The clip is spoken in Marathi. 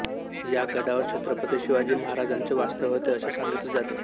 या गडावर छत्रपती शिवाजी महाराजांचे वास्तव्य होते असे सांगितले जाते